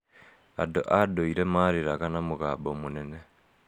Andũ a ndũire maarĩraga na mũgambo mũnene.